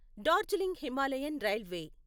Darjeeling Himalayan railway